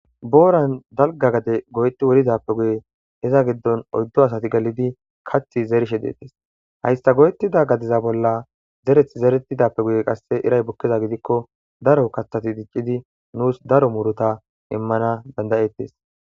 Booran dalga gade go'eti wurizappe guye heza giddon oyddo asati galidi kathi zerishe deettes hayssa goyetida gadiza bolla zereth zeretidappe guye qasse iray bukkeza gidikko daro kaththati diccidi nuus daro muruta immana dandayettes.